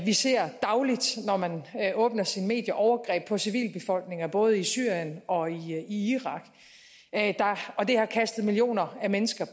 vi ser dagligt når man åbner sine medier overgreb på civilbefolkninger både i syrien og i irak og det har kastet millioner af mennesker